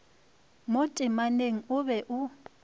mo temaneng o be o